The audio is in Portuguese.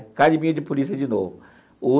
Academia de polícia de novo.